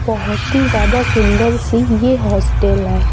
बहोत ही ज्यादा सुंदर सी यह हॉस्टल है।